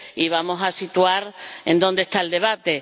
Vamos a situar dónde está el debate.